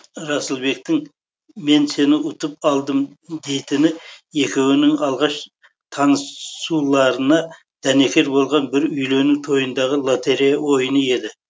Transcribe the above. расылбектің мен сені ұтып алдым дейтіні екеуінің алғаш таны ссуларына дәнекер болған бір үйлену тойындағы лоторея ойыны еді